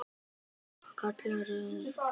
Hjördís: Hvað kallar þú þetta?